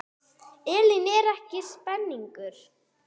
Elín, er ekki spenningur?